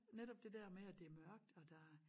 Netop det dér med at det er mørkt og der